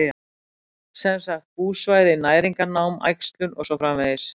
Sem sagt búsvæði, næringarnám, æxlun og svo framvegis?